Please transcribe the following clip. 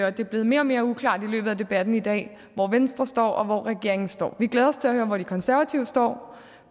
og det er blevet mere og mere uklart i løbet af debatten i dag hvor venstre står og hvor regeringen står vi glæder os til at høre hvor de konservative står